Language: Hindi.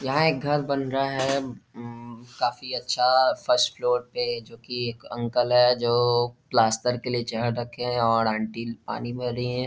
यहां एक घर बन रहा है उम्म्म काफी अच्छा फर्स्ट फ्लोर पे जोकि एक अंकल है जो प्लास्टर के लिए चहर रखे हुए है और आंटी पानी भर रही है।